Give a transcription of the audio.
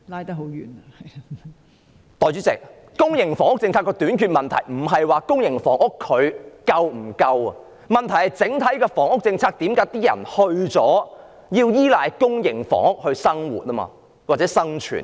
代理主席，公營房屋政策的短缺問題不在於公營房屋是否足夠，而是為何在整體的房屋政策下，市民要依賴公營房屋來生活或應付基本的生存需要？